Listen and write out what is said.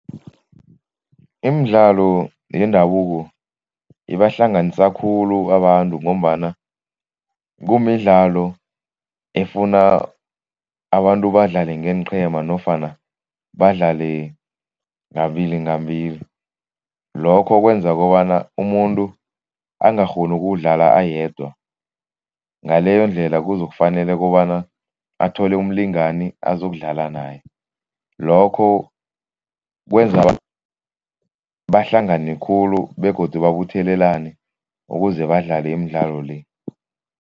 Imidlalo yendabuko ibahlanganisa khulu abantu ngombana kumidlalo efuna abantu badlale ngeenqhema nofana badlale ngabili ngambili. Lokho kwenza kobana umuntu angakghoni ukuwudlala ayedwa, ngaleyondlela kuzokufanele kobana athole umlingani azokudlala naye. Lokho kwenza bahlangane khulu begodu babuthelelane ukuze badlale imidlalo le.